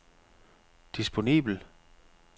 disponibel